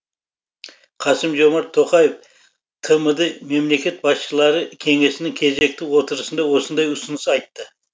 қасым жомарт тоқаев тмд мемлекет басшылары кеңесінің кезекті отырысында осындай ұсыныс айтты